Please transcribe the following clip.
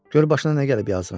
Gör başına nə gəlib yazığın.